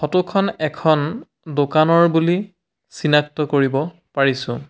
Photo খন এখন দোকানৰ বুলি চিনাক্ত কৰিব পাৰিছোঁ।